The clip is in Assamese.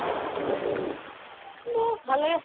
দে ভালে